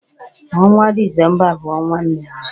Ọnwa Dizemba bụ ọnwa mmemme.